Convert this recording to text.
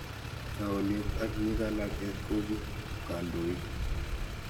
taunet ak nyikanatet ko kii kandoik